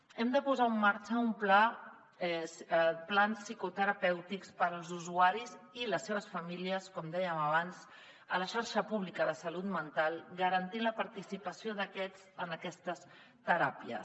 hem de posar en marxa plans psicoterapèutics per als usuaris i les seves famílies com dèiem abans a la xarxa pública de salut mental garantint la participació d’aquests en aquestes teràpies